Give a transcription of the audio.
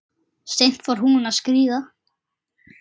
Seint fór hún að skríða.